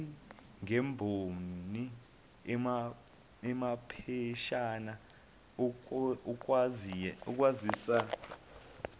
ngemboni amapheshana okwazisa